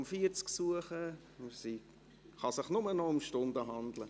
Es kann sich nur noch um Stunden handeln.